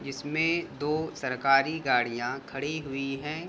जिसमे दो सरकारी गाड़िया खड़ी हुई हैं।